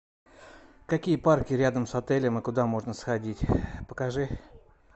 какие парки рядом с отелем и куда можно сходить покажи